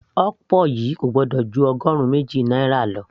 okpor yìí kò gbọ́dọ̀ ju ọgọrun méjì náírà lọ